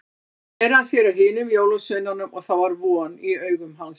Svo sneri hann sér að hinum jólasveinunum og það var von í augum hans.